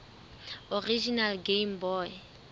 original game boy